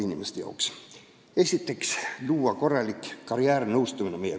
Esiteks tuleks kooliõpilastele luua korralik karjäärinõustamine.